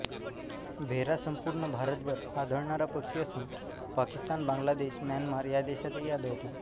भेरा संपूर्ण भारतभर आढळणारा पक्षी असून पाकिस्तान बांगलादेश म्यानमार या देशातही आढळतो